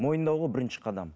мойындау ғой бірінші қадам